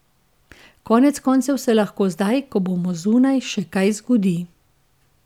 Konec koncev se lahko zdaj, ko bomo zunaj, še kaj zgodi.